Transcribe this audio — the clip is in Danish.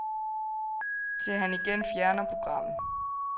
Til han igen fjerner programmet.